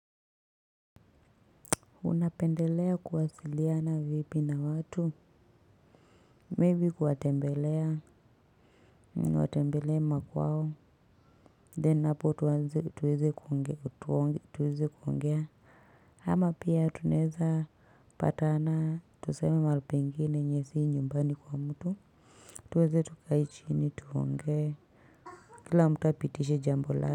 Unapendelea kuwasiliana vipi na watu? Maybe kuwatembelea. Niwatembelee makwao. Then hapo tuweze kuongea. Ama pia tunaeza patana. Tuseme mahali pengi ne yenye si nyumbani kwa mtu. Tuweze tukae chini tuongea. Kila mtu a pitishe jambo la.